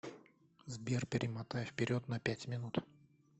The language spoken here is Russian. сбер перемотай вперед на пять минут